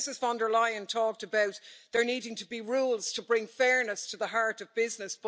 Now, Ms von der Leyen talked about there needing to be rules to bring fairness to the heart of business.